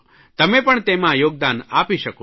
તમે પણ તેમાં યોગદાન આપી શકો છો